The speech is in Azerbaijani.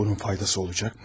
Bunun faydası olacaqmı?